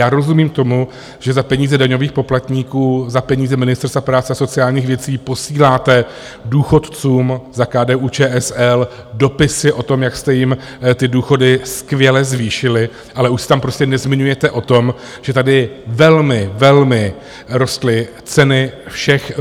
Já rozumím tomu, že za peníze daňových poplatníků, za peníze Ministerstva práce a sociálních věcí posíláte důchodcům za KDU-ČSL dopisy o tom, jak jste jim ty důchody skvěle zvýšili, ale už se tam prostě nezmiňujete o tom, že tady velmi, velmi rostly ceny všech...